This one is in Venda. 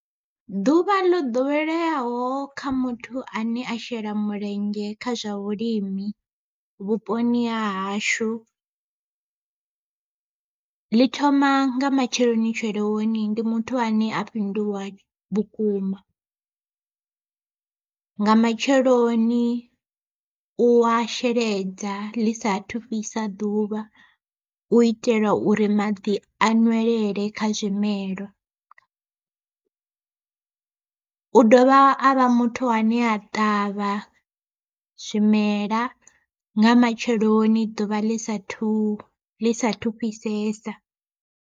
Ḓuvha ḽo ḓoweleaho kha muthu ane a shela mulenzhe kha zwa vhulimi vhuponi ha hashu, ḽi thoma nga matsheloni tsheloni ndi muthu ane a fhinduwa vhukuma nga matsheloni u wa sheledza ḽi sa thu fhisa ḓuvha u itela uri maḓi a nwelele kha zwimelwa, u dovha avha muthu ane a ṱavha zwimela nga matsheloni ḓuvha ḽi sa thu ḽi sathu fhisesa.